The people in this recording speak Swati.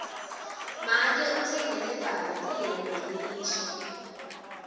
make utsengele babe lihembe lelisha